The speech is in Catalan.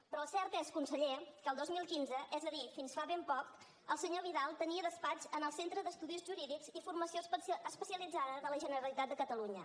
però el cert és conseller que el dos mil quinze és a dir fins fa ben poc el senyor vidal tenia despatx en el centre d’estudis jurídics i formació especialitzada de la generalitat de catalunya